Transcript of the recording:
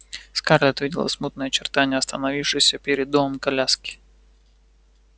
скарлетт видела смутные очертания остановившейся перед домом коляски